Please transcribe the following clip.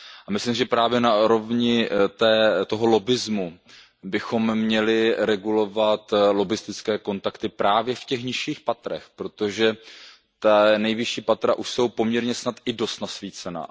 Myslím si, že právě na úrovni toho lobbismu bychom měli regulovat lobbistické kontakty právě v těch nižších patrech, protože ta nejvyšší patra už jsou poměrně snad i dost nasvícená.